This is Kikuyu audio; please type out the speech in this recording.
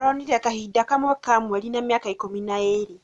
Aronire kahinda game ka mweri na mīaka ikümi na īrī